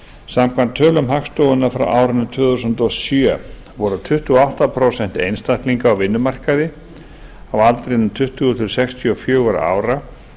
samkvæmt tölum hagstofunnar frá árinu tvö þúsund og sjö voru tuttugu og átta prósent einstaklinga á vinnumarkaði á aldrinum tuttugu til sextíu og fjögurra ára